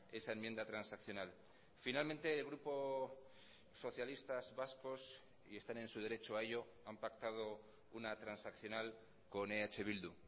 esa enmienda transaccional finalmente el grupo socialistas vascos y están en su derecho a ello han pactado una transaccional con eh bildu